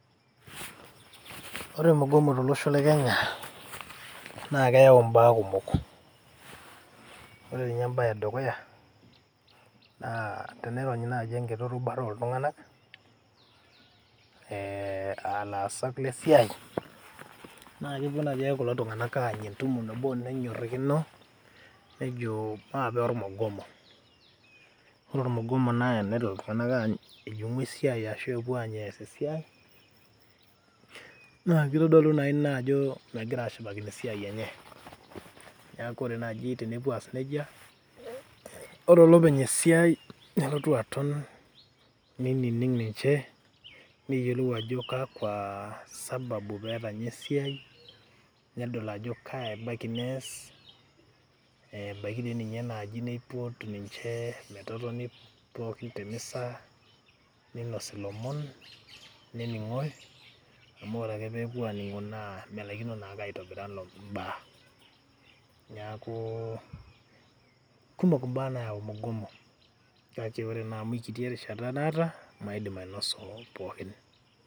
Ore mgomo tolosho le Kenya naake eyau mbaa kumok. Ore nye embaye e dukuya naa tenironyi naji enkiti rubuta oltung'anak ee aa lasak le siai naake epuo naji ake kulo tung'anak aanya entumo nabo nenyorakino nejo maape ormugomo. Ore ormugomo naa enepuo iltung'anak aany ejing'u esiai ashu enepuo aany ees esiai, naa kitodolu naa ina ajo megira ashipakino esiai enye. Neeku kore naaji tenepuo aas neija, ore olopeny esiai neltu aton nining' ninje neyolou ajo kakwa sababu pee etanya esiai nedol ajo kaa ebaiki nees ee ebaiki naa ninye naji nipot ninje metotoni pookin te mesa ninosi ilomon nening'oi amu ore ake pee epuo aning'o naa melaikino naake aitabirai ilomon mbaa. Neeku kumok mbaa nayau mgomo kake kore naa amu kiti erishata naata, maidim ainosu ilomon pookin.